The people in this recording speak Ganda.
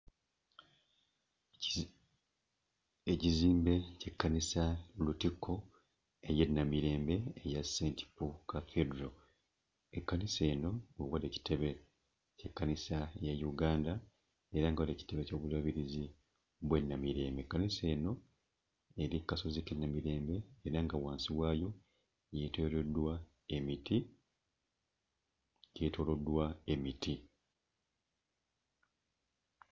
Ekizimbe ky'ekkanisa Lutikko ey'e Namirembe eya St. Paul Cathedral. Ekkanisa eno we wali ekitebe ky'ekkanisa ya Uganda era nga we wali ekitebe ky'Obulabirizi bw'e Namirembe. Ekkanisa eno eri ku kasozi k'e Namirembe era nga wansi waayo yeetooloddwa emiti, yeetooloddwa emiti.